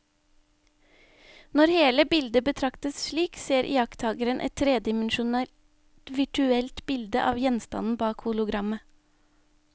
Når hele bildet betraktes slik, ser iakttakeren et tredimensjonalt virtuelt bilde av gjenstanden bak hologrammet.